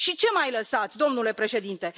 Și ce mai lăsați, domnule președinte?